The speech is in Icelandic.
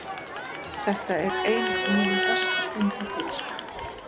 Þetta er ein af mínum bestu stundum hér.